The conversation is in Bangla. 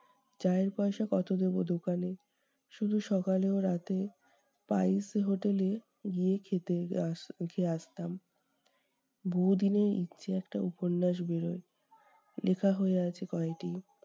চায়ের পয়সা কত দেব দোকানে? শুধু সকালে ও রাতে, spice hotel এ গিয়ে খেতে যা খেয়ে আসতাম। বহুদিনের ইচ্ছে একটা উপন্যাস বেরোয়, লিখা হয়ে আছে কয়টি।